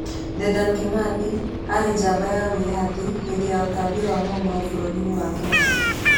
Dedan Kimathi aarĩ njamba ya wĩyathi hĩndĩ ya ũtambia wa Mau Mau bũrũri-inĩ wa Kenya.